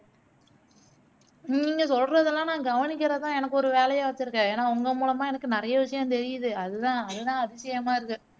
நீங்க சொல்லுறதுலாம் நா கவனிக்கிறதுதான் எனக்கு ஒரு வேலையா வச்சிருக்கேன் ஏனா உங்க மூலியமா எனக்கு நிறையா விஷயம் தெரியுது அதுதான் அதுதான் அதிசயமா இருக்கு